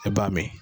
E b'a mɛn